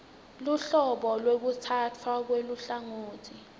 luhlobo lwekutsatfwa kweluhlangotsi